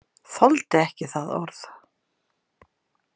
Þoldi ekki það orð.